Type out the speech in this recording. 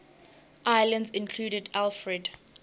islands included alfred